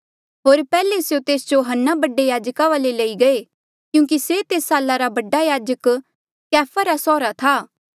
होर पैहले स्यों तेस जो हन्ना बडा याजका वाले लई गये क्यूंकि से तेस साला रा बडा याजक कैफा रा सौहरा था